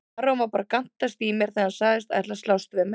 Aron var bara að gantast í mér þegar hann sagðist ætla að slást við mig.